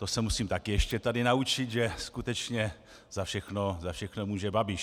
To se musím také ještě tady naučit, že skutečně za všechno může Babiš.